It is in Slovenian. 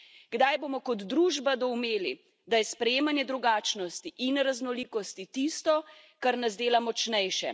Kdaj bomo kot družba doumeli, da je sprejemanje drugačnosti in raznolikosti tisto, kar nas dela močnejše.